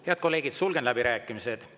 Head kolleegid, sulgen läbirääkimised.